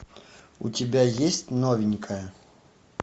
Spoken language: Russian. у тебя есть новенькая